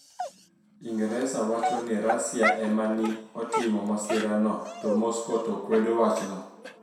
Inigresa wacho nii Russia e ma ni e otimo masirano, to Moscow to kwedo wachno.